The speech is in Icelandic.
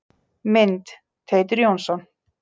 Mynd: Teitur Jónsson.